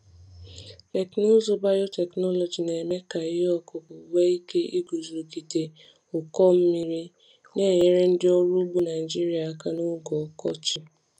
Teknụzụ biotechnology na-eme ka ihe ọkụkụ nwee ike iguzogide ike iguzogide ụkọ mmiri, na-enyere ndị ọrụ ugbo Naijiria aka n’oge ọkọchị.